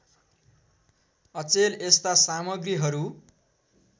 अचेल यस्ता सामग्रीहरू